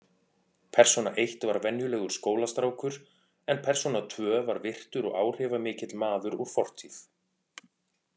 Persóna eitt var venjulegur skólastrákur en persóna tvö var virtur og áhrifamikill maður úr fortíð.